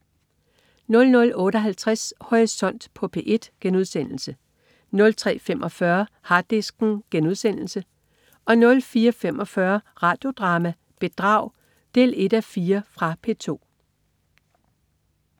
00.58 Horisont på P1* 03.45 Harddisken* 04.45 Radio Drama: Bedrag 1:4. Fra P2